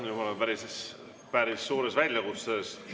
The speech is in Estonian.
Nüüd ma olen päris suure väljakutse ees.